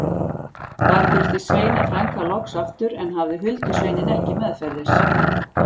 Þar birtist Sveina frænka loks aftur en hafði huldusveininn ekki meðferðis.